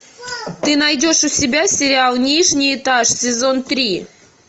ты найдешь у себя сериал нижний этаж сезон три